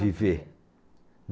Viver.